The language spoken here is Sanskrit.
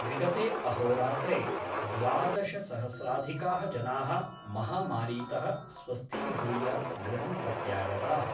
विगते अहोरात्रे द्वादशसहस्राधिकाः जना: महामारीत: स्वस्थीभूय गृहं प्रत्यागताः।